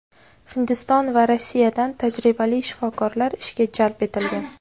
Hindiston va Rossiyadan tajribali shifokorlar ishga jalb etilgan.